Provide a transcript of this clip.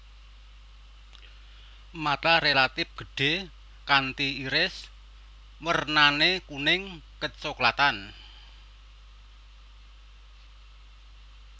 Mata relatif gedhé kanti iris wernané kuning kecoklatan